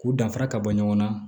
K'u danfara ka bɔ ɲɔgɔn na